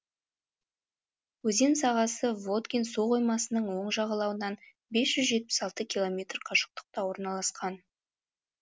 өзен сағасы воткин суқоймасының оң жағалауынан бес жүз жетпіс алты километр қашықтықта орналасқан